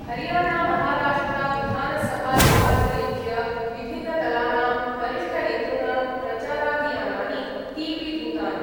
हरियाणामहाराष्ट्रविधानसभानिर्वाचनेभ्य विभिन्नदलानां वरिष्ठनेतॄणां प्रचाराभियानानि तीव्रीभूतानि।